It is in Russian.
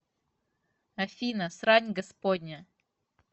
афина срань господня